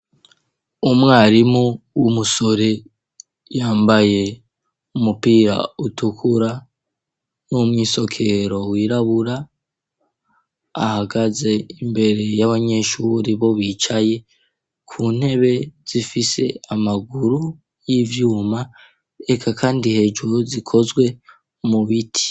Umwarimu w'umusore yambaye umupira utukura n'umwisokero wirabura ahagaze imbere y'abanyeshuri bo bicaye ku ntebe zifise amaguru y'ivyuma reka kandi hejuru zikozwe mu biti.